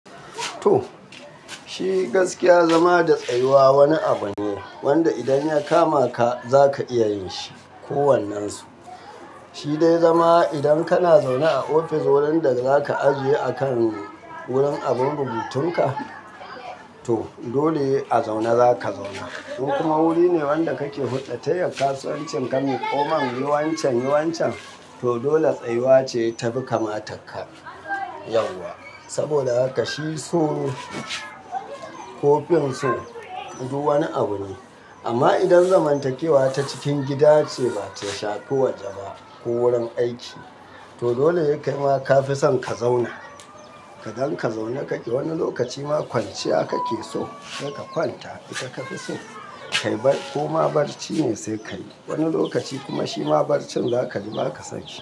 To, shi gaskiya zama da tsayuwa wani abu ne wanda idan ya kamata za ka iya yin shi ko wannen su. Shi dai zama idan kana zaune a ofis wurin da za ka ajiye a kan wurin abin rubutun ka, to dole a zaune za ka zauna. In kuma wuri ne wanda ka ke buɗatayyar kasuwancin ka maiƙomin yi wancan yi wancan, to dole tsayuwa ce ta fi kamatar ka yauwa. Saboda haka shi so ko fin so duk wani abu ne. Amma idan zamantakewa ta cikin gida ce ba ta shafi waje ba ko wurin aiki, to dole kai ma ka fi son ka zauna. Kadan ka zauna kake wani lokaci ma kwanciya kake so, sai ka kwanta ita ka fi so ko ma barci ne sai ka yi. Wani lokaci kuma shi ma barcin zakaji baka son shi.